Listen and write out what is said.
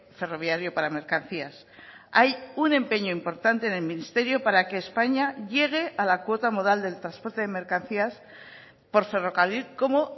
ferroviario para mercancías hay un empeño importante del ministerio para que españa llegue a la cuota modal del transporte de mercancías por ferrocarril como